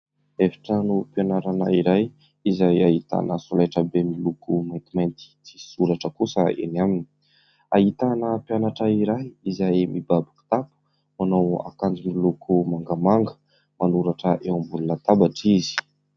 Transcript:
Efitranom-pianarana iray izay ahitana solaitrabe miloko maintimainty tsy misy soratra kosa enỳ aminy. Ahitana mpianatra iray izay mibaby kitapo manao akanjo miloko mangamanga. Manoratra eo ambony latabatra izy.